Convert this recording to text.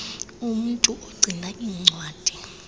umntu ogcina iincwadi